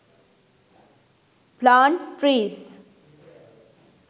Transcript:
plant trees